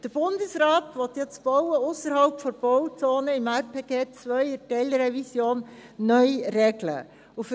Der Bundesrat will das Bauen ausserhalb der Bauzone mit der Teilrevision RPG 2 neu regeln.